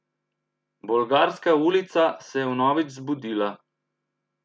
Bolgarska ulica se je vnovič zbudila.